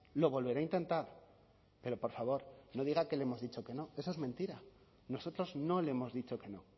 lo volverá a intentar pero por favor no diga que le hemos dicho que no eso es mentira nosotros no le hemos dicho que no